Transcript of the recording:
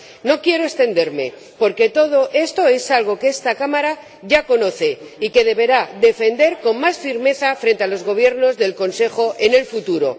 No quiero extenderme, porque todo esto es algo que esta Cámara ya conoce y que deberá defender con más firmeza frente a los Gobiernos del Consejo en el futuro.